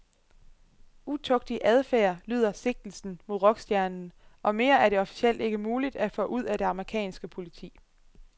Utugtig adfærd lyder sigtelsen mod rockstjernen, og mere er det officielt ikke muligt at få ud af det amerikanske politi.